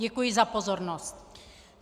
Děkuji za pozornost.